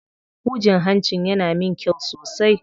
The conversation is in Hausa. Hujin hancin yana min kyau sosai.